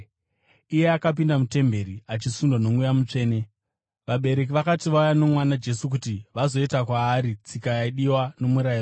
Akapinda mutemberi achisundwa noMweya Mutsvene. Vabereki vakati vauya nomwana Jesu kuti vazoita kwaari tsika yaidiwa noMurayiro,